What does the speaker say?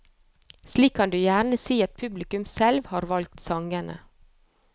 Slik kan du gjerne si at publikum selv har valgt sangene.